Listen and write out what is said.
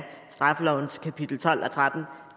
straffelovens kapitel tolv og trettende